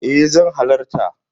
E zan halarta.